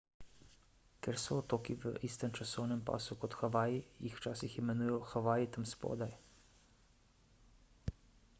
ker so otoki v istem časovnem pasu kot havaji jih včasih imenujejo havaji tam spodaj